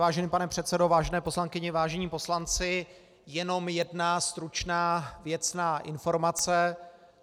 Vážený pane předsedo, vážené poslankyně, vážení poslanci, jenom jedna stručná věcná informace.